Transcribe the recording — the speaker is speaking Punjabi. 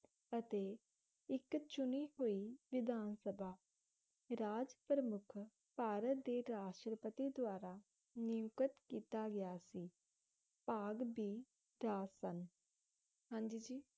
ਅਤੇ ਇੱਕ ਚੁਣੀ ਹੋਈ ਵਿਧਾਨ ਸਭਾ ਰਾਜ ਪ੍ਰਮੁੱਖ ਭਾਰਤ ਦੇ ਰਾਸ਼ਟਰਪਤੀ ਦਵਾਰਾ ਨਿਉਂਕਤ ਕੀਤਾ ਗਿਆ ਸੀ ਭਾਗ ਬੀ ਸਨ ਹਾਂਜੀ ਜੀ